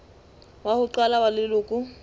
wa ho qala wa leloko